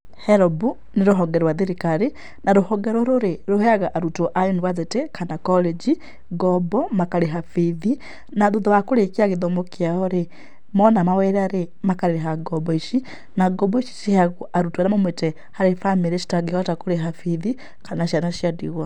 HELB nĩ rũhonge rwa thirikari, na rũhonge rũrũ rĩ, rũheaga arutwo a university kana college ngoombo makarĩha bithi. Na thutha wa kũrĩkia gĩthomo kĩao rĩ, moona mawĩra rĩ, makarĩha ngoombo ici. Na ngoombo ici ciheagwo arutwo arĩa maumĩĩte harĩ bamĩrĩ citangĩhota kũrĩha bithi, kana ciana cia ndigwa.